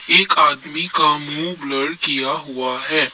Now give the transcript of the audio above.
एक आदमी का मुंह ब्लर किया हुआ है।